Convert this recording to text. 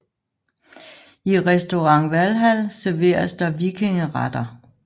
I Restaurant Valhall serveres der vikingeretter